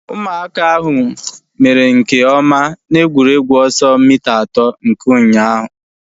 Ụmụaka ahu mere nke ọma na egwuregwu ọsọ mita atọ nke ụnyaahụ